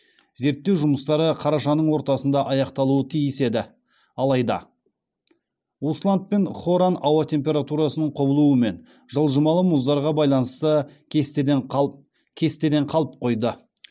зерттеу жұмыстары қарашаның ортасында аяқталуы тиіс еді алайда усланд пен хоран ауа температурасының құбылуы мен жылжымалы мұздарға байланысты кестеден қалып қойды